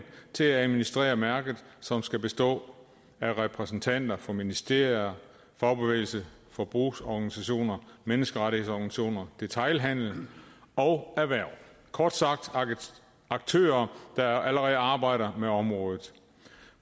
til at administrere mærket som skal bestå af repræsentanter for ministerier fagbevægelse forbrugerorganisationer menneskerettighedsorganisationer detailhandel og erhverv kort sagt aktører der allerede arbejder med området